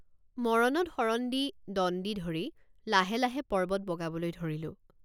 মৰণত শৰণ দি দণ্ডি ধৰি লাহে লাহে পৰ্বত বগাবলৈ ধৰিলোঁ।